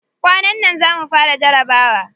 Kwanan nan za mu fara jarabawa.